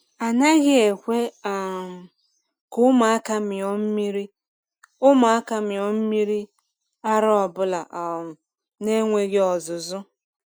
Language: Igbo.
A naghị ekwe um ka ụmụaka mịọ mmiri ụmụaka mịọ mmiri ara ọbụla um na-enweghị ọzụzụ.